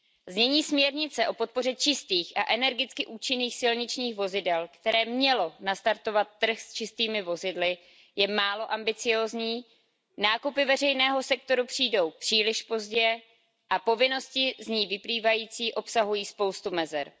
Znění směrnice o podpoře čistých a energicky účinných silničních vozidel, které mělo nastartovat trh s čistými vozidly, je málo ambiciózní, nákupy veřejného sektoru přijdou příliš pozdě a povinnosti z ní vyplývající obsahují spoustu mezer.